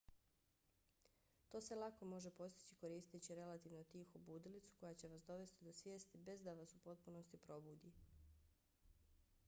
to se lako može postići koristeći relativno tihu budilicu koja će vas dovesti do svijesti bez da vas u potpunosti probudi